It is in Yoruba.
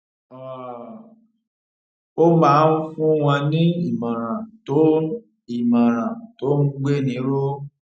um ó máa ń fún wọn ní ìmòràn tó ń ìmòràn tó ń gbéni ró